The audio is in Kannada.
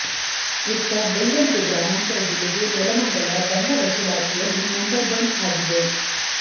ಇತ್ತ ಬೆಂಗಳೂರು ಗ್ರಾಮಾಂತರ ಜಿಲ್ಲೆಗೆ ನೆಲಮಂಗಲ ದಂಡ ವಸೂಲಾತಿಯಲ್ಲಿ ನಂಬರ್ ಒನ್ ಆಗಿದೆ